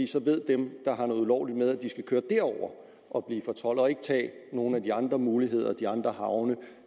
så ved dem der har noget ulovligt med at de skal køre derover og blive fortoldet og ikke tage nogen af de andre muligheder de andre havne